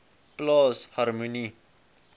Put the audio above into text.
plaas harmonie